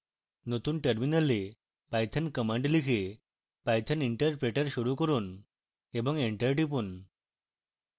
নতুন terminal python command লিখে python interpreter শুরু করুন এবং enter টিপুন